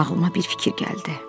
Ağlıma bir fikir gəldi.